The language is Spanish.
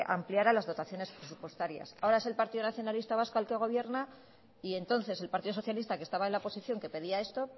ampliara las dotaciones presupuestarias ahora es el partido nacionalista vasco el que gobierna y entonces el partido socialista que estaba en la oposición que pedía esto